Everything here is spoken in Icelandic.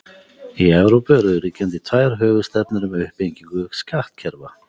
Í Evrópu eru ríkjandi tvær höfuðstefnur um uppbyggingu skattkerfa.